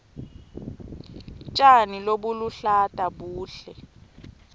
tjani lobuluhlata buhle